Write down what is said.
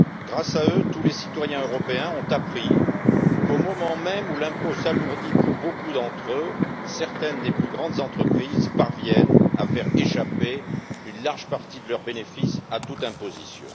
Grâce à eux, tous les citoyens européens ont appris qu'au moment même où l'impôt s'alourdit pour beaucoup d'entre eux, certaines des plus grandes entreprises parviennent à faire échapper une large partie de leurs bénéfices à toute imposition.